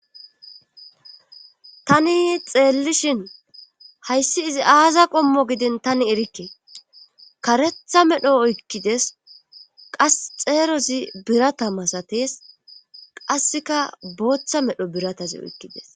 tani xeellishin hayssi izi aaza qommo giden tani erikke karetha medho oykkides qas xeerozi birata masatees qasseka booththa medho biratazi oykkides